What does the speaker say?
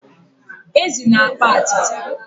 ezi na-akpa atịtị